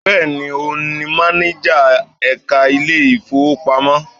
Bẹ́ẹ̀ni, òun ni mánájà ẹka ilé ìfowópamọ́.